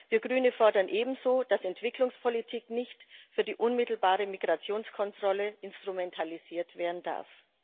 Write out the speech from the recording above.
Wir Grüne fordern ebenso, dass Entwicklungspolitik nicht für die unmittelbare Migrationskontrolle instrumentalisiert werden darf.